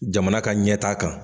Jamana ka ɲɛ t' a kan.